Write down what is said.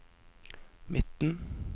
midten